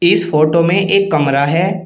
इस फोटो में एक कमरा है।